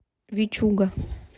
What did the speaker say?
вичуга